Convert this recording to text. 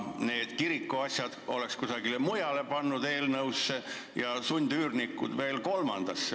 Need kirikuasjad oleks pannud kusagile mujale eelnõusse ja sundüürnikud veel kolmandasse.